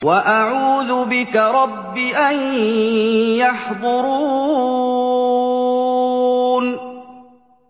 وَأَعُوذُ بِكَ رَبِّ أَن يَحْضُرُونِ